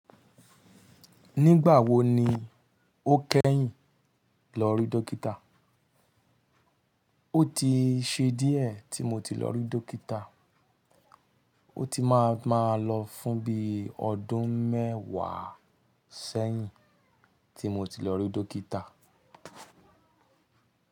Nígbà wo ni o kẹ́yìn lọ rí dọ́kítà? Ó ti ṣe díẹ̀ tí mo ti lọ rí dọ́kítà. Ó ti má a má a lọ fún bíi ọdún mẹ́wàá sẹ́yìn tí mo ti lọ rí dọ́kítà.